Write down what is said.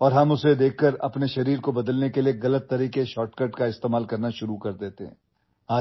वापर करण्यात येतो आणि आपण पडद्यावर जे दिसते त्यानुसार आपले शरीर घडवण्यासाठी चुकीच्या पद्धतीने शॉर्टकटचा वापर करू लागतो